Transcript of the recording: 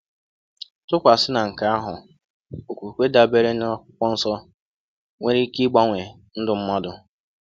Tụkwasị na nke ahụ, okwukwe dabeere n’Akwụkwọ Nsọ nwere ike gbanwee ndụ mmadụ.